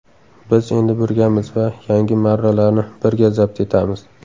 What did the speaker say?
Biz endi birgamiz va yangi marralarni birga zabt etamiz!